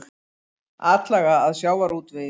Atlaga að sjávarútvegi